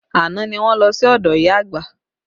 Àná ni wọ́n lọ sí ọdọ ìyá àgbà